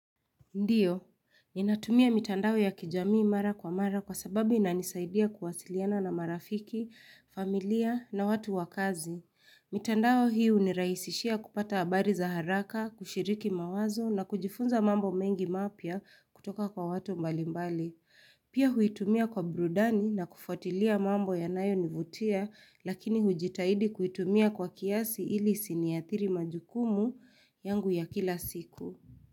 Ndiyo, ni natumia mitandao ya kijamii mara kwa mara kwa sababu inanisaidia kuwasiliana na marafiki, familia na watu wakazi. Mitandao hii hunirahisishia kupata habari za haraka, kushiriki mawazo na kujifunza mambo mengi mapia kutoka kwa watu mbali mbali. Pia huitumia kwa brudani na kufuatilia mambo yanayo nivutia lakini hujitahidi kuitumia kwa kiasi ili isini athiri majukumu yangu ya kila siku.